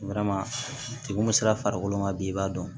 mun sera farikolo ma bi i b'a dɔn